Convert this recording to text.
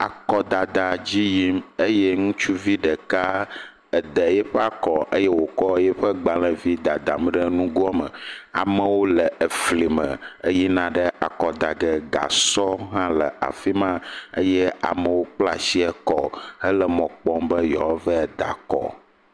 Akɔdada dzi yim eye ŋutsuvi ɖeka eda eƒe akɔ eye wokɔ eƒe gbalevi dadam ɖe nugoa me. Amewo le efli me eyina ɖe akɔdage. Gasɔ hã le afi ma eye amewo kpla asi akɔ hele mɔkpɔm be yewoava de akɔ.